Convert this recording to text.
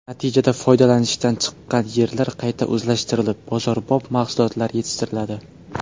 Natijada foydalanishdan chiqqan yerlar qayta o‘zlashtirilib, bozorbop mahsulotlar yetishtiriladi.